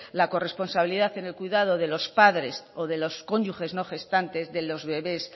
la corresponsabilidad en el cuidado de los padres o de los cónyuges no gestantes de los bebés